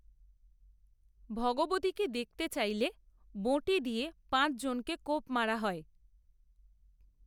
ভগবতীকে দেখতে চাইলে বঁটি দিয়ে পাঁচ জনকে কোপ মারা হয়